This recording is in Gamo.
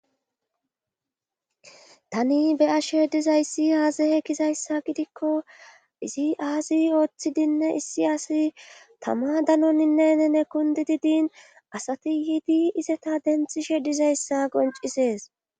tani beyashe dizayssi aazehe kizayssa gidikko izi aazi ooththidinne issi asi tama danoninne nene kundididin asati yiidi izeta denthi shedizayssa goncisees